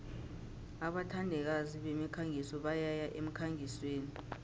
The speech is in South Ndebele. abathandikazi bemikhangiso bayaya emkhangisweni